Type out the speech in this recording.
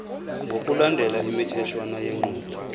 ngokulandela imitheshwana yenqubo